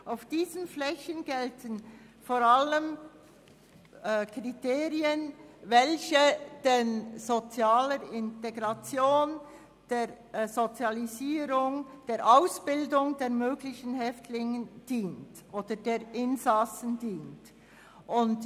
Für diese Flächen gelten vor allem Kriterien, welche der sozialen Integration, der Sozialisierung und der Ausbildung der möglichen Häftlinge beziehungsweise der Insassen dienen.